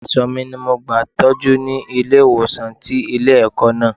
Àìsàn mi ni mo gba Ìtọ́jú ni ilé ìwòsàn tí ilé ẹ̀kọ́ náà.